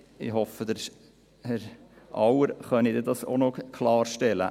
Ich hoffe, Herr Auer könne dies dann auch noch klarstellen.